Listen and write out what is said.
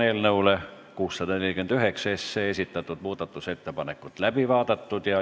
Eelnõu 649 kohta esitatud muudatusettepanekud on läbi vaadatud.